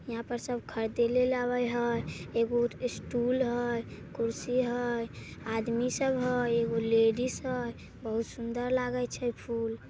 यहां पर सब खरदे लेल आबे हय एगो स्टूल हय कुर्सी हय आदमी सब हय एगो लेडिस हय बहुत सुंदर लागे छै फूल--